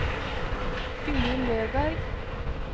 Gunhild Løberg